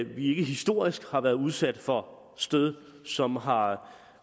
vi ikke historisk har været udsat for stød som har